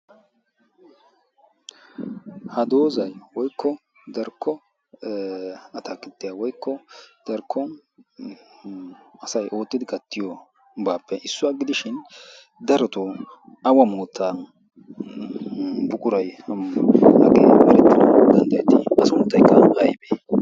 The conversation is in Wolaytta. ha dozay darkko giddon mokkiya mitaappe issuwa gidishi a sunttaykka aybee?